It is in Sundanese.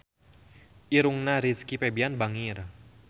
Irungna Rizky Febian bangir